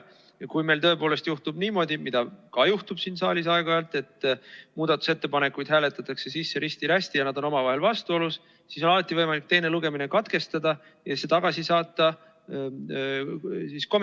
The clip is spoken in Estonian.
Kui meil juhtub niimoodi – ja seda siin saalis aeg-ajalt ikka juhtub –, et muudatusettepanekuid hääletatakse sisse risti-rästi ja need on omavahel vastuolus, siis on alati võimalik teine lugemine katkestada ja eelnõu komisjoni tagasi saata.